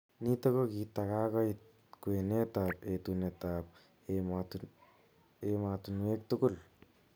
Nitok ko kitakakoit kwenet ap etunet ap emotonwek tugul.